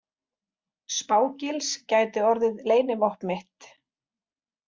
Spá- Gils gæti orðið leynivopn mitt.